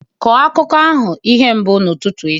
Kọọ akụkọ ahụ ihe mbụ n'ụtụtụ echi!